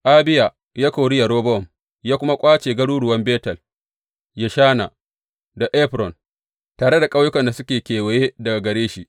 Abiya ya kori Yerobowam ya kuma ƙwace garuruwan Betel, Yeshana da Efron, tare da ƙauyukan da suke kewaye daga gare shi.